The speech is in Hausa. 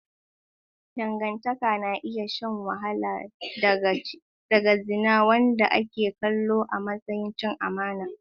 Dangantaka na iya shan wahala daga zina, wanda ake kallo a matsayin cin amana.